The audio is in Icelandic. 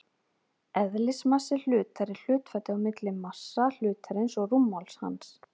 eðlismassi hlutar er hlutfallið á milli massa hlutarins og rúmmáls hans